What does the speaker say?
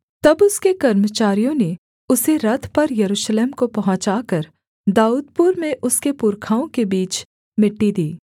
तब उसके कर्मचारियों ने उसे रथ पर यरूशलेम को पहुँचाकर दाऊदपुर में उसके पुरखाओं के बीच मिट्टी दी